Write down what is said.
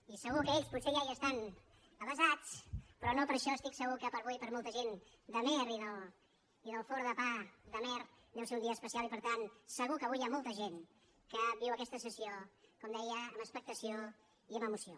i segur que ells potser ja hi estan avesats però no per això estic segur que avui per a molta gent d’amer i del forn de pa d’amer deu ser un dia especial i per tant segur que avui hi ha molta gent que viu aquesta sessió com deia amb expectació i amb emoció